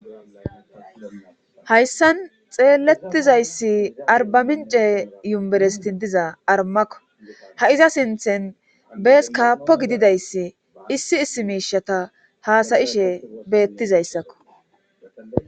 hayssan xeelettizayssi arbamince yuberestin diza armakko ha iza sinthen bees kaappo gididayssi issi issi miishata haasayishe beettizayssakko